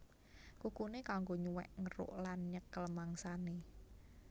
Kukuné kanggo nyuwèk ngeruk lan nyekel mangsané